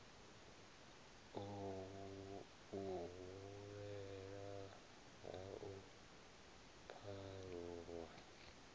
u hulela ha u pharuwa